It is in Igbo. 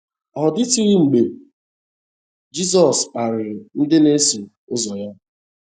Ọ dịtụghị mgbe Jizọs kparịrị ndị na - eso ụzọ ya.